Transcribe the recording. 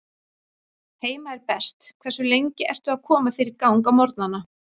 Heima er best Hversu lengi ertu að koma þér í gang á morgnanna?